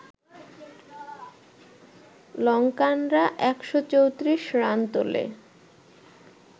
লঙ্কানরা ১৩৪ run তোলে